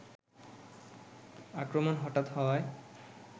আক্রমণ হঠাৎ হওয়ায়